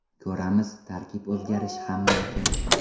Ko‘ramiz, tarkib o‘zgarishi ham mumkin.